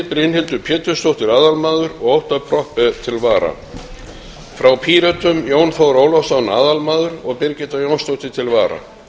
brynhildur pétursdóttir aðalmaður og óttarr proppé til vara frá pírötum jón þór ólafsson aðalmaður og birgitta jónsdóttir til vara